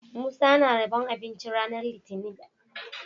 Musa na rabon abinci ranar litinin